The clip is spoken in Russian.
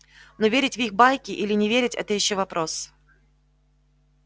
но верить в их байки или не верить это ещё вопрос